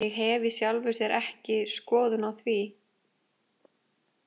Ég hef í sjálfu sér ekki skoðun á því.